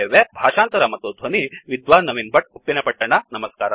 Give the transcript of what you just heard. ಭಾಷಾಂತರ ಮತ್ತು ಧ್ವನಿ ವಿದ್ವಾನ್ ನವೀನ್ ಭಟ್ ಉಪ್ಪಿನಪಟ್ಟಣ